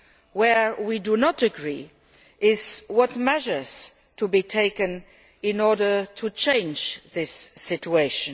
Where we do not agree is on the measures to be taken in order to change this situation.